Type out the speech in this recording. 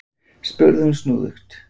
spurði hún snúðugt.